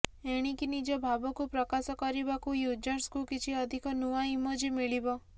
ଏଣିକି ନିଜ ଭାବକୁ ପ୍ରକାଶ କରିବାକୁ ୟୁଜର୍ସଙ୍କୁ କିଛି ଅଧିକ ନୂଆ ଇମୋଜୀ ମିଳିବ